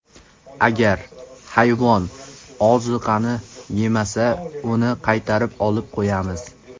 Agar hayvon oziqani yemasa, uni qaytarib olib qo‘yamiz.